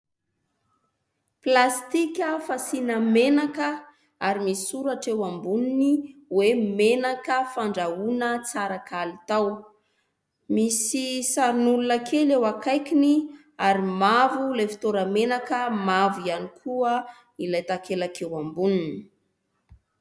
Plastika fasiana menaka ary misy soratra eo amboniny hoe "menaka fandrahoana tsara kalitao". Misy sarin'olona kely eo akaikiny ary mavo ilay fitoerana menaka, mavo ihany koa ilay takelaka eo amboniny.